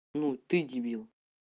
ну ты дебил